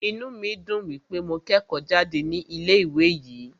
Inú mí dùn wípé mo kẹ́kọ̀ọ́ jáde ní ilé ìwé yìí.